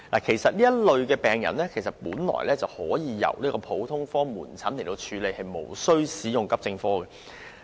其實，這類病人本應前往普通科門診診所求診而無須使用急症室服務。